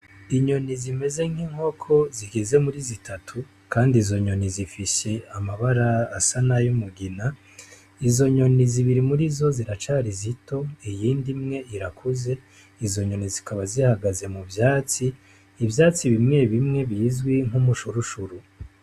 Inyoni zimeze nk'inkoko zigeze muri zitatu kandi izo nyoni zifise amabara asa n'ayumugina, izo nyoni zibiri murizo ziracari zito iyindi imwe irakuze, izo nyoni zikaba zihagaze mu vyatsi, ivyatsi bimwe bimwe bizwi nk'umushurushuru.